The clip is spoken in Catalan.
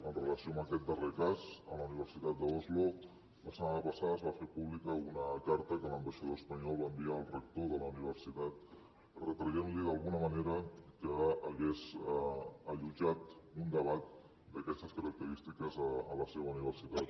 amb relació a aquest darrer cas a la universitat d’oslo la setmana passada es va fer pública una carta que l’ambaixador espanyol va enviar al rector de la universitat retraient li d’alguna manera que hagués allotjat un debat d’aquestes característiques a la seva universitat